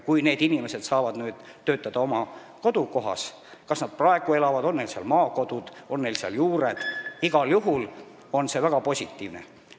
Kui need inimesed saaksid töötada oma kodukohas – ükskõik, kas nad juba elavad seal, on neil seal maakodu või juured –, oleks see igal juhul väga positiivne.